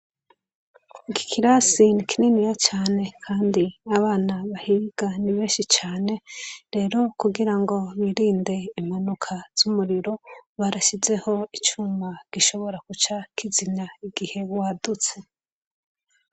Iki kirasi nikininiya cane kandi abana bahiga ni benshi cane, rero kugira go birinde impanuka z'umuriro, barasizeho icuma gishobora guca kizimya igihe wadutse.